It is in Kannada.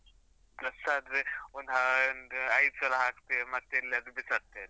Dress ಆದ್ರೆ, ಒಂದು ಒಂದ್ ಐದ್‌ ಸಲ ಹಾಕ್ತೇವೆ, ಮತ್ತ್ ಎಲ್ಲಿಯಾದ್ರು ಬಿಸಾಡ್ತೆವೆ.